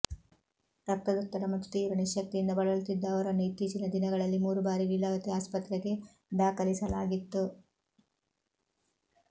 ರಕ್ತದೊತ್ತಡ ಮತ್ತು ತೀವ್ರ ನಿಶ್ಶಕ್ತಿಯಿಂದ ಬಳಲುತ್ತಿದ್ದ ಅವರನ್ನು ಇತ್ತೀಚಿನ ದಿನಗಳಲ್ಲಿ ಮೂರು ಬಾರಿ ಲೀಲಾವತಿ ಆಸ್ಪತ್ರೆಗೆ ದಾಖಲಿಸಲಾಗಿತ್ತು